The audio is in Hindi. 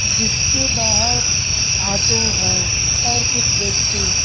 जिसके बाहर ऑटो है और कुछ व्यक्ति।